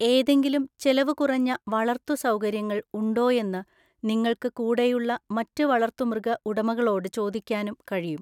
ഏതെങ്കിലും ചെലവുകുറഞ്ഞ വളര്‍ത്തു സൗകര്യങ്ങൾ ഉണ്ടോയെന്ന് നിങ്ങൾക്ക് കൂടെയുള്ള മറ്റു വളർത്തുമൃഗ ഉടമകളോട് ചോദിക്കാനും കഴിയും.